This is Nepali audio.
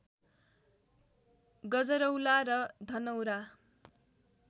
गजरौला र धनौरा